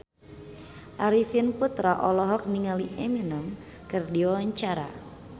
Arifin Putra olohok ningali Eminem keur diwawancara